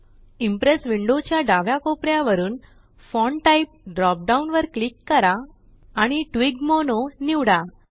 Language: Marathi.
इम्प्रेस विंडो च्या डाव्या कोपऱ्यावरून फॉन्ट टाइप ड्रॉप डाउन वर क्लिक करा आणि ट्लॉगमोनो निवडा